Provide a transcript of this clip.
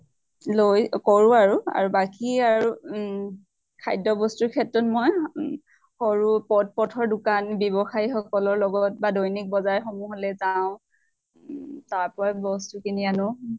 লৈ কৰো আৰু। আৰু বাকী আৰু উম খাদ্য় বস্তুৰ ক্ষেত্ৰত মই সৰু পথৰ দোকান ব্য়ৱ্সায়্ সকলৰ লগত বা দৈনিক বজাৰ সমূহলৈ যাওঁ। উম তাৰ পৰাই বস্তু কিনি আনো।